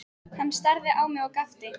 Hann starði á mig og gapti.